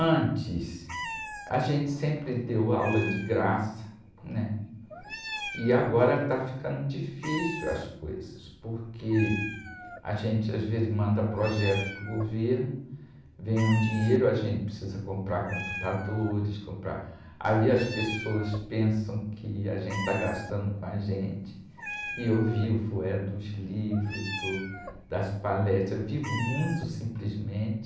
Antes, a gente sempre deu aula de graça, e agora está ficando difícil as coisas, porque a gente às vezes manda projeto para o governo, vem um dinheiro, a gente precisa comprar computadores, comprar, aí as pessoas pensam que a gente está gastando com a gente, e eu vivo é dos livros, do, das palestras, vivo muito simplesmente,